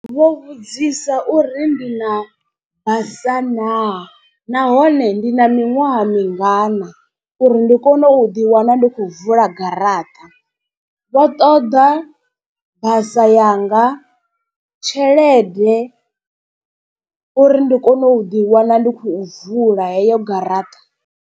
Vho vhudzisa uri ndi na basa naa nahone ndi na miṅwaha mingana, uri ndi kone u ḓi wana ndi khou vula garaṱa. Vho ṱoḓa basa yanga, tshelede uri ndi kone u ḓi wana ndi khou vula heyo garaṱa.